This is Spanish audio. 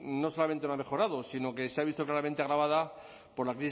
no solamente no ha mejorado sino que se ha visto claramente agravada por la